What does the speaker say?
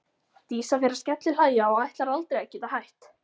Dísa fer að skellihlæja og ætlar aldrei að geta hætt.